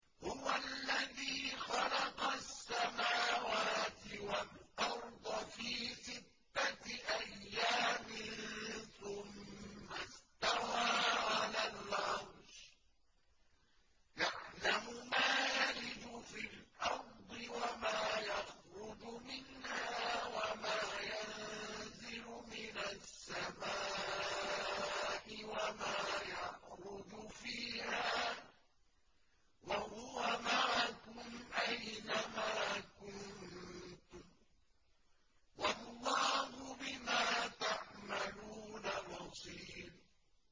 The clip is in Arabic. هُوَ الَّذِي خَلَقَ السَّمَاوَاتِ وَالْأَرْضَ فِي سِتَّةِ أَيَّامٍ ثُمَّ اسْتَوَىٰ عَلَى الْعَرْشِ ۚ يَعْلَمُ مَا يَلِجُ فِي الْأَرْضِ وَمَا يَخْرُجُ مِنْهَا وَمَا يَنزِلُ مِنَ السَّمَاءِ وَمَا يَعْرُجُ فِيهَا ۖ وَهُوَ مَعَكُمْ أَيْنَ مَا كُنتُمْ ۚ وَاللَّهُ بِمَا تَعْمَلُونَ بَصِيرٌ